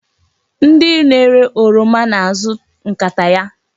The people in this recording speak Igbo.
Ndị na-ere oroma na-azụ nkata ya.